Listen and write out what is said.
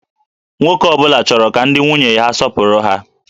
Nwoke ọ bụla chọrọ ka ndị nwunye ha na-asọpụrụ ha